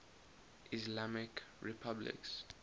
islamic republics